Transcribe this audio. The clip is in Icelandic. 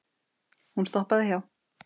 Hún stoppaði hjá